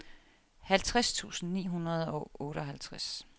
halvtreds tusind ni hundrede og otteoghalvtreds